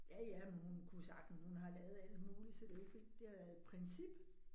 Ja ja, men hun kunne sagtens, hun har lavet alt muligt, så det ikke fordi. Det har været et princip